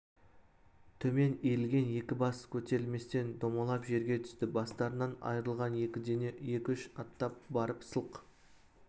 төмен иілген екі бас көтерілместен домалап жерге түсті бастарынан айырылған екі дене екі-үш аттап барып сылқ